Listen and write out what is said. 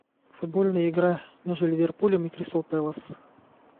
футбольная игра между ливерпулем и кристал пэлас